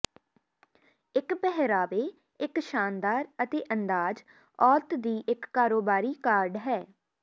ਇੱਕ ਪਹਿਰਾਵੇ ਇੱਕ ਸ਼ਾਨਦਾਰ ਅਤੇ ਅੰਦਾਜ਼ ਔਰਤ ਦੀ ਇੱਕ ਕਾਰੋਬਾਰੀ ਕਾਰਡ ਹੈ